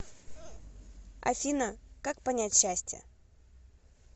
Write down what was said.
афина как понять счастье